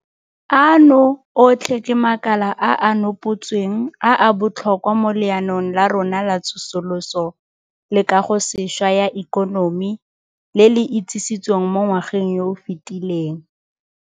Ano otlhe ke makala a a nopotsweng a a botlhokwa mo Leanong la rona la Tsosoloso le Kagosešwa ya Ikonomi le le itsisitsweng mo ngwageng yo o fetileng.